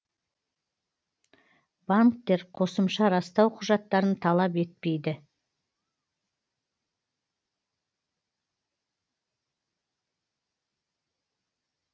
банктер қосымша растау құжаттарын талап етпейді